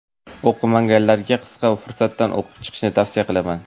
O‘qimaganlarga qisqa fursatda o‘qib chiqishni tavsiya qilaman.